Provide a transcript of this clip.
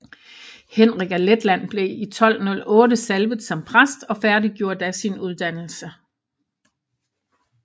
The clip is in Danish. Henrik af Letland blev i 1208 salvet som præst og færdiggjorde da sin uddannelse